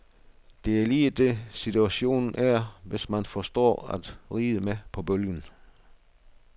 Det er lige det, situationen er, hvis man forstår at ride med på bølgen.